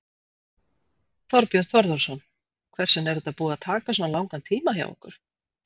Þorbjörn Þórðarson: Hvers vegna er þetta búið að taka svona langan tíma hjá ykkur?